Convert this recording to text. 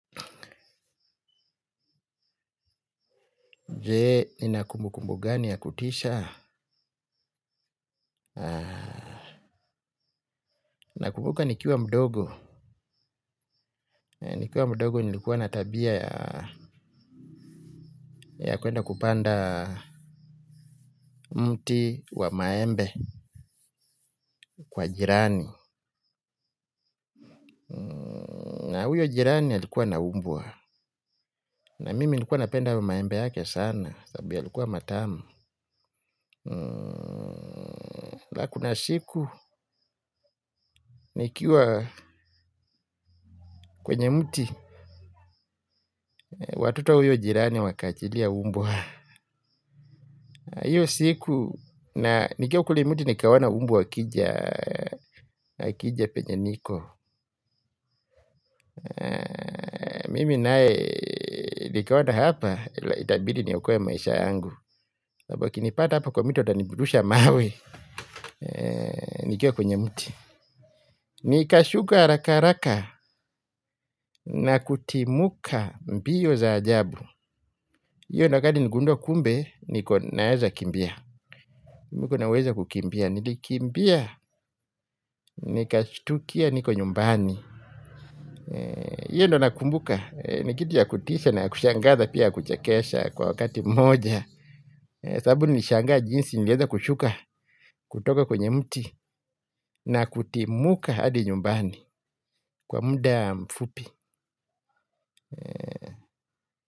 Jee, nina kumbukumbu gani ya kutisha. Nakumbuka nikiwa mdogo. Nikiwa mdogo nilikuwa na tabia yaa ya kuenda kupanda mti wa maembe kwa jirani. Na huyo jirani alikuwa na umbwa. Na mimi nilikuwa napenda maembe yake sana. Sababu yalikuwa matamu. Ka kuna siku nikiwa kwenye mti watoto wa huyo jirani wakaachilia umbwa aah hiyo siku na nikiwa kule muti nikawaona umbwa wakijaa wakija penye niko mimi nae nikaona hapa ila itabidi niokoe maisha yangu sabu wakinipata hapa kwa miti watanirusha mawe nikiwa kwenye mti. Nikashuka haraka haraka na kutimuka mbio za ajabu hiyo ndio wakati niligundua kumbe niko naeza kimbia. Miko na uwezo wa kukimbia, nilikimbia, nikashtukia niko nyumbani iyo ndio nakumbuka, ni kitu ya kutisha na ya kushangaza pia ya kuchekesha kwa wakati mmoja. Sabu nilishangaa jinsi ningeweza kushuka kutoka kwenye mti na kutimuka hadi nyumbani kwa muda mfupi.